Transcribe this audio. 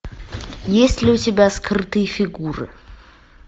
есть ли у тебя скрытые фигуры